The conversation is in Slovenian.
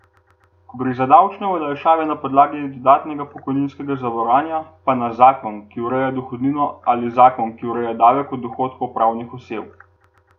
Ko gre za davčne olajšave na podlagi dodatnega pokojninskega zavarovanja, pa na zakon, ki ureja dohodnino, ali zakon, ki ureja davek od dohodkov pravnih oseb.